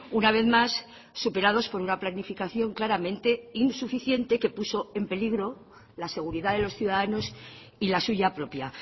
una vez más superados por una planificación claramente insuficiente que puso en peligro la seguridad de los ciudadanos y la suya propia